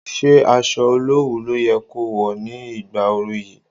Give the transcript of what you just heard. Ṣé aṣọ olowu ló yẹ ko wọ̀ ní ìgbà oru yìí?